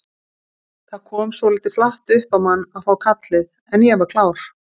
Það kom svolítið flatt upp á mann að fá kallið en ég var klár.